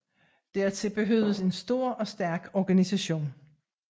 Dertil behøvedes en stor og stærk organisation